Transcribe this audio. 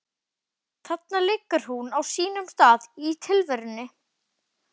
Þarna liggur hún á sínum stað í tilverunni.